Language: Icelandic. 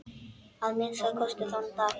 Að minnsta kosti þann dag.